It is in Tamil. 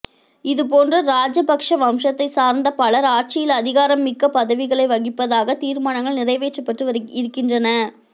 இது போன்ற ராஜபக்ச வம்சத்தை சார்ந்த பலர் ஆட்சியில் அதிகாரம் மிக்க பதவிகளை வகிப்பதற்காக தீர்மானங்கள் நிறைவேற்றப்பட்டு இருக்கின்றன